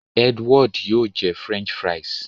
Edward yóò jẹ french fries.